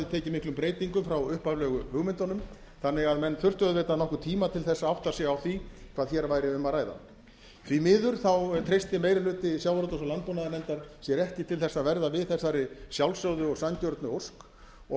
tekið miklum breytingum frá upphaflegu hugmyndunum þannig að menn þurftu auðvitað nokkurn tíma til þess að átta sig á því hvað hér væri um að ræða því miður treysti meiri hluti sjávarútvegs og landbúnaðarnefndar sér ekki til að verða við þessari sjálfsögðu og sanngjörnu ósk og